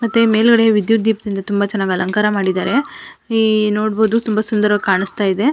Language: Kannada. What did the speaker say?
ಮತ್ತೆ ಮೇಲ್ಗಡೆ ವಿದ್ಯುತ್ ದೀಪದಿಂದ ತುಂಬಾ ಅಲಂಕಾರ ಮಾಡಿದ್ದಾರೆ ಈ ನೋಡಬಹುದು ತುಂಬಾ ಸುಂದರವಾಗಿ ಕಾಣಿಸ್ತಾ ಇದೆ.